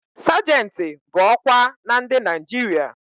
Sajentị bụ ọkwa na ndị Naịjirịa